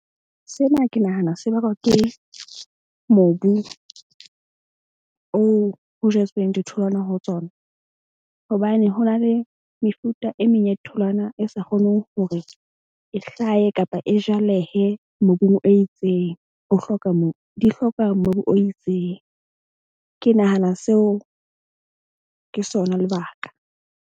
Sena ke nahana se bakwa ke mobu oo ho jetsweng ditholwana ho tsona, hobane ho na le mefuta e meng ya ditholwana e sa kgoneng hore e hlahe kapa e jalehe mobung o itseng. Di hloka mobu o itseng. Ke nahana seo ke sona lebaka.